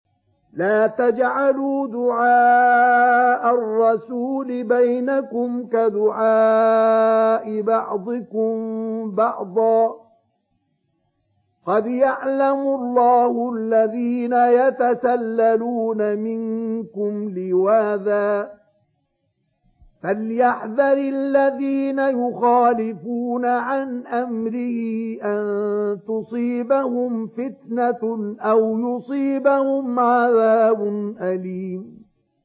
لَّا تَجْعَلُوا دُعَاءَ الرَّسُولِ بَيْنَكُمْ كَدُعَاءِ بَعْضِكُم بَعْضًا ۚ قَدْ يَعْلَمُ اللَّهُ الَّذِينَ يَتَسَلَّلُونَ مِنكُمْ لِوَاذًا ۚ فَلْيَحْذَرِ الَّذِينَ يُخَالِفُونَ عَنْ أَمْرِهِ أَن تُصِيبَهُمْ فِتْنَةٌ أَوْ يُصِيبَهُمْ عَذَابٌ أَلِيمٌ